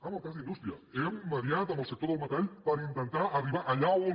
en el cas d’indústria hem mediat amb el sector del metall per intentar arribar allà on